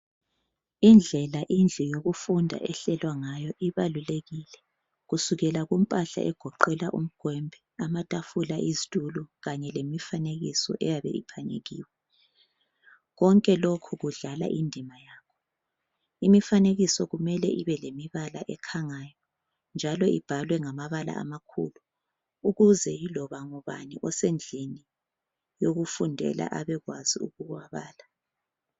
Indlela indlu yokufunda ehlelwa ngayo ibalulekile, kusukela kumpahla egoqela umgwembe, amatafula ,izitulo kanye lemifanekiso eyabe iphanyekiwe. Konke lokhu kudlala indima yakho. Imifanekiso kumele ibe lemibala ekhangayo, njalo ibhalwe ngamabala amakhulu ukuze yiloba ngubani osendlini yokufundela abekwazi ukuwabala.